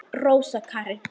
Rósa Karin.